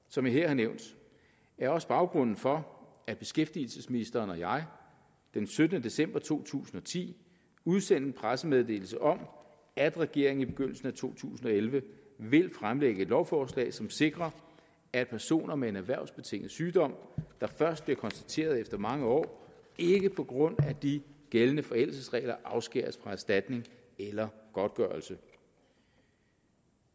som jeg her har nævnt er også baggrunden for at beskæftigelsesministeren og jeg den syttende december to tusind og ti udsendte en pressemeddelelse om at regeringen i begyndelsen af to tusind og elleve vil fremsætte et lovforslag som sikrer at personer med en erhvervsbetinget sygdom der først bliver konstateret efter mange år ikke på grund af de gældende forældelsesregler afskæres fra erstatning eller godtgørelse